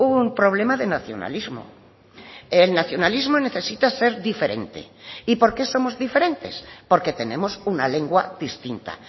un problema de nacionalismo el nacionalismo necesita ser diferente y por qué somos diferentes porque tenemos una lengua distinta